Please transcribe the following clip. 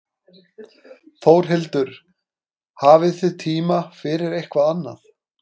Þórhildur: Hafið þið tíma fyrir eitthvað annað?